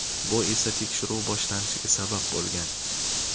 bu esa tekshiruv boshlanishiga sabab bo‘lgan.